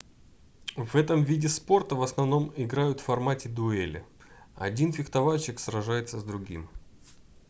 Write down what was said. в этом виде спорта в основном играют в формате дуэли один фехтовальщик сражается с другим